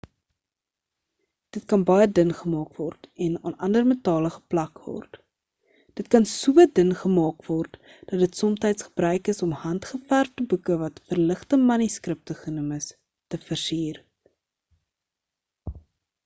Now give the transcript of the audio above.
dit kan baie dun gemaak word en aan ander metale geplak word dit kan so dun gemaak word dat dit somtyds gebruik is om hand-geverfde boeke wat verligte manuskripte genoem is te versier